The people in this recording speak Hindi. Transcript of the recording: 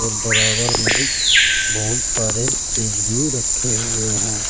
बराबर में बहुत सारे फ्रिज भी रखे हुए हैं।